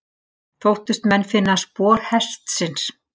Þóttust menn finna spor hestsins.